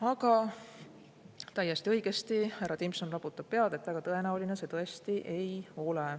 Aga täiesti õigesti härra Timpson raputab pead, et väga tõenäoline see ei ole.